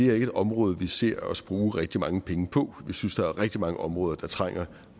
er et område vi ser os bruge rigtig mange penge på jeg synes der er rigtig mange områder der trænger